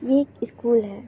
ये एक स्कूल है